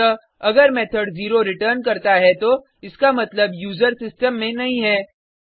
अतः अगर method 0 return करता है तो इसका मतलब यूजर सिस्टम में नहीं है